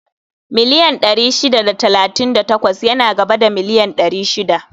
Miliyan ɗari shida da talatin da takwas yana gaba da miliyan ɗari shida